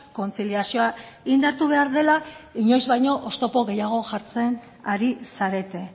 kontziliazioa indartu behar dela inoiz baino oztopo gehiago jartzen ari zarete